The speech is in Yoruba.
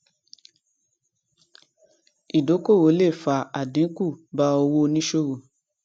ìdókòwò le fa àdínkù bá owó oníṣòwò